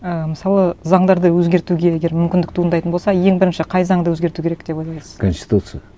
і мысалы заңдарды өзгертуге егер мүмкіндік туындайтын болса ең бірінші қай заңды өзгерту керек деп ойлайсыз конституция